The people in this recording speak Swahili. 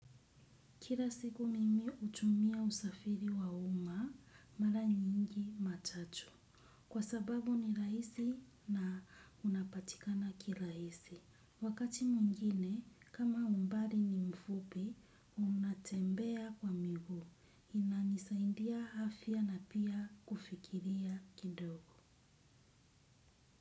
Kira siku mimi utumia usafiri wa uma mara nyingi matatu. Kwa sababu ni raisi na unapatikana kilaisi. Wakati mwingine, kama umbali ni mfupi, unatembea kwa miguu. Inanisaindia afya na pia kufikiria kidogo.